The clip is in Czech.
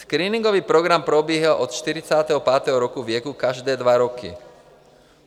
Screeningový program probíhá od 45. roku věku každé dva roky.